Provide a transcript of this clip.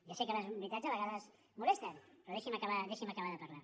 ja sé que les veritats a vegades molesten però deixi’m acabar de parlar